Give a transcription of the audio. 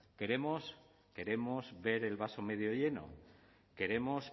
queremos ver el vaso medio lleno queremos